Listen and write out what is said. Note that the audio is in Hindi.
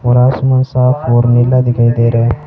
और आसमान साफ और नीला दिखाई दे र--